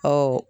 Ɔ